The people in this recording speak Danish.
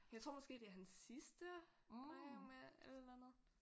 Jeg tror måske det er hans sidste regner jeg med et eller andet